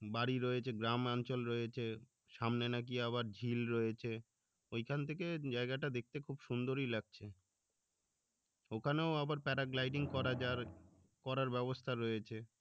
বাড়ি রয়েছে গ্রামাঞ্চল রয়েছে সামনে নাকি আবার ঝিল রয়েছে ওইখান থেকে জায়গাটা দেখতে খুব সুন্দরই লাগছে ওখানেও আবার paragliding করা যাওয়ার করার ব্যবস্থা রয়েছে